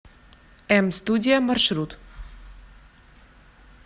эм студия маршрут